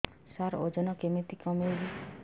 ସାର ଓଜନ କେମିତି କମେଇବି